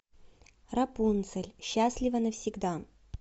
рапунцель счастлива навсегда